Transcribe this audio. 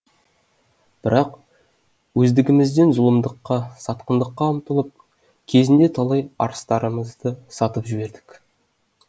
бірақ өздігімізден зұлымдыққа сатқындыққа ұмтылып кезінде талай арыстарымызды